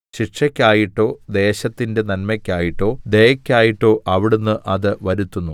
ശിക്ഷയ്ക്കായിട്ടോ ദേശത്തിന്റെ നന്മയ്ക്കായിട്ടോ ദയയ്ക്കായിട്ടോ അവിടുന്ന് അത് വരുത്തുന്നു